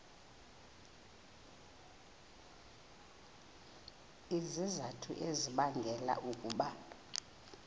izizathu ezibangela ukuba